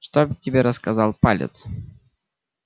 что тебе рассказал палец